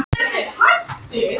Hann var um eign í sérbýli